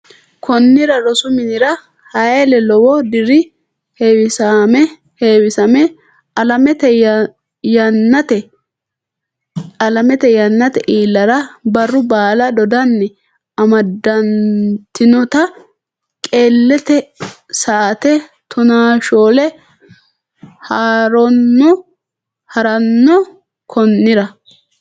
Konnira rosu minira Hayle lewu diri heewisame alamate yannatenni iillara barru baala dodanni amadantinota qeellete sa aate tonaashoole ha ranno Konnira.